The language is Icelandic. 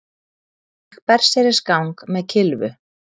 Gekk berserksgang með kylfu